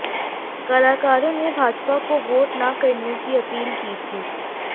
कलाकारों ने भाजपा को वोट ना करने की अपील की थी